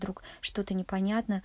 друг что-то не понятно